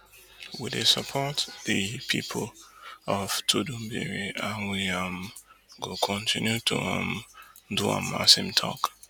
we dey support di pipu of tudunbiri and we um go kotinu to um do am im tok